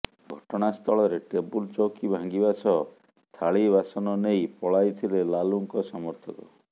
ଘଟଣାସ୍ଥଳରେ ଟେବୁଲ ଚୌକି ଭାଙ୍ଗିବା ସହ ଥାଳି ବାସନ ନେଇ ପଳାଇଥିଲେ ଲାଲୁଙ୍କ ସମର୍ଥକ